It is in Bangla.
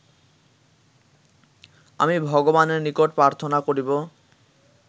আমি ভগবানের নিকট প্রার্থনা করিব